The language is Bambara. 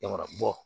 Yarɔ bɔ